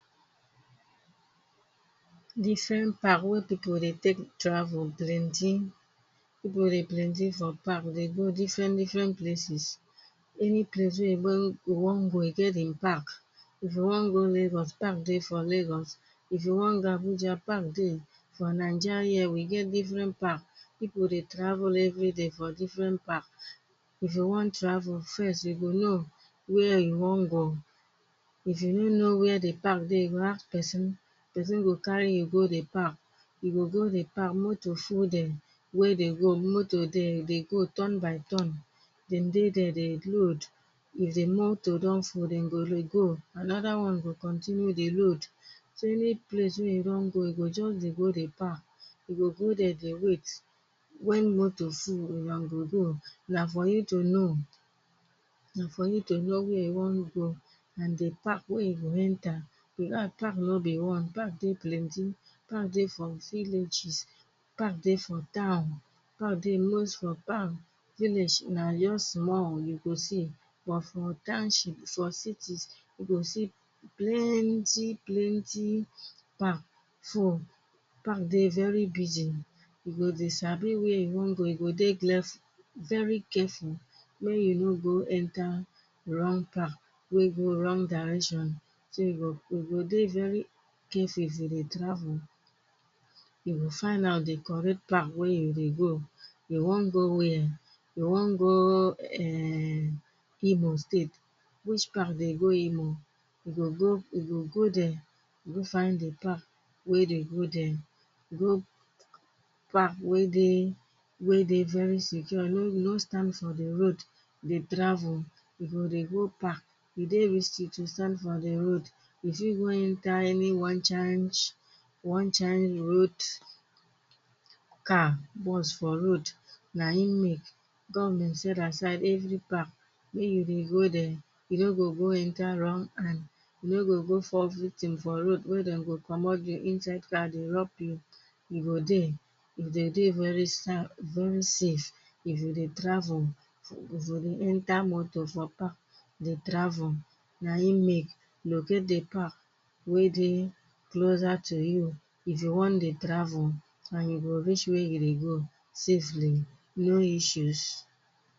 Different park wey people dey take travel plenty People dey plenty, for park. They go different, different places. Any place wey you want go, you go get them park. If you want go Lagos, park dey for Lagos. If you want go Abuja, park dey. For Naija here, we get different park. People dey travel every day for different park. If you want travel, first you go know where you wan go. If you no know where the park dey, you go ask person. Person go carry you go the park. You go go the park, moto full there, where they go. Moto dey, they go turn by turn. Then dey there, they load. If they moto don full, then go dey go. Another one go continue dey load. So, any place wey you want go, you go just dey go the park. You go go there, they wait when moto full. You go know, na for you to know, na for you to know where you want go and the park wey you go enter. Because park no be one. Park dey plenty. Park dey from villages. Park dey for town. Park dey most for town. Village na just small you go see, but for township, for cities, you go see plenty, plenty park full. Park dey very busy. You go dey sabi where you want go. You go dey careful very careful when you no go enter wrong park wey go wrong direction. So you go you go dey very careful if you dey travel. You go find out the correct park where you dey go. You want go where? You want go, eh, Imo State? Which park dey go Imo? You go go, you go go there go find the park where they go there. Go park wey dey wey dey very secure. You no no go stand for the road dey travel. You go dey go park. It dey risky to stand for the road. If you go enter any one chance, one chance road car, bus for road, na hin make government set aside every park. Make you dey go there. You no go go enter wrong hand. You no go go fall victim for road where them go commot you inside car dey rob you. You go dey, if they dey very very safe if you dey travel, if you dey enter moto for park, dey travel. Na hin make locate the park wey dey closer to you, if you want dey travel, and you go reach where you dey go safely, no issues.